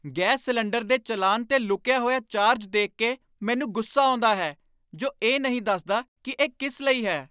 Gas cylinder ਦੇ ਚਲਾਨ 'ਤੇ ਲੁਕਿਆ ਹੋਇਆ ਚਾਰਜ ਦੇਖ ਕੇ ਮੈਨੂੰ ਗੁੱਸਾ ਆਉਂਦਾ ਹੈ, ਜੋ ਇਹ ਨਹੀਂ ਦੱਸਦਾ ਕਿ ਇਹ ਕਿਸ ਲਈ ਹੈ।